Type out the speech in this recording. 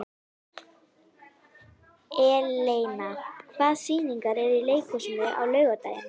Eleina, hvaða sýningar eru í leikhúsinu á laugardaginn?